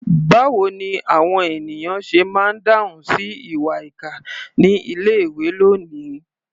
Báwo ni àwọn ènìyàn ṣe máa ń dáhùn sí ìwà ìkà ní ilé-ìwé lónìí?